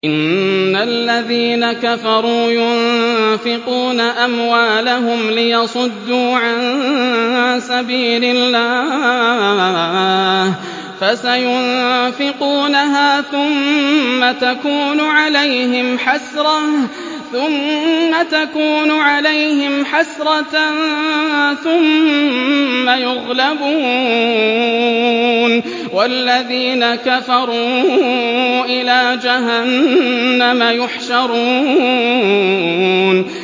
إِنَّ الَّذِينَ كَفَرُوا يُنفِقُونَ أَمْوَالَهُمْ لِيَصُدُّوا عَن سَبِيلِ اللَّهِ ۚ فَسَيُنفِقُونَهَا ثُمَّ تَكُونُ عَلَيْهِمْ حَسْرَةً ثُمَّ يُغْلَبُونَ ۗ وَالَّذِينَ كَفَرُوا إِلَىٰ جَهَنَّمَ يُحْشَرُونَ